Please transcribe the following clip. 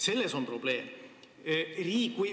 Selles on probleem!